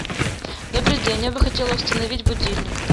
добрый день я бы хотела установить будильник